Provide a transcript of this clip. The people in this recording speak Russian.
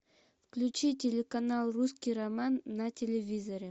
включи телеканал русский роман на телевизоре